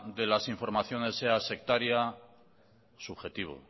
de las informaciones sea sectaria subjetivo